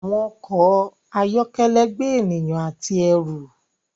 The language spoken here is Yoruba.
Àwọn ọkọ ayọkẹlẹ gbé ènìyàn àti ẹru.